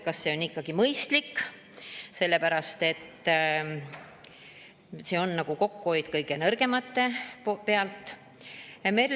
Kas see on mõistlik, sest see on kokkuhoid kõige nõrgemate pealt?